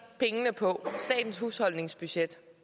pengene på statens husholdningsbudget